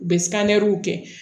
U bɛ kɛ